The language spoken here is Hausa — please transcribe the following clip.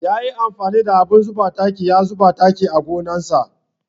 Ya yi amfani da abin zuba taki ya zuba taki a gonar sa.